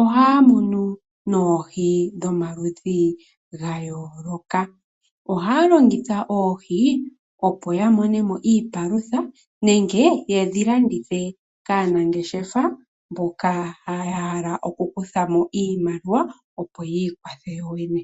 ohaya munu mo noohi dha yooloka. Ohaya longitha oohi opo ya mone mo iipalutha nenge yedhi landithe kaanangeshefa mboka ya hala okukutha mo iimaliwa opo yiikwathe yoyene.